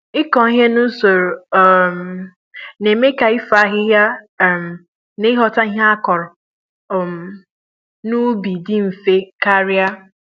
ịkụ Ihe nusoro um n'eme ka ifo ahịhịa um na ighota ihe akụrụ um n'ubi dị mfe karịa